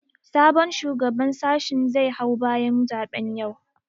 Sabon shugaban sashin zai hau bayan zaɓen yau